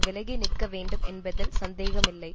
விலகி நிற்க வேண்டும் என்பதில் சந்தேகமில்லை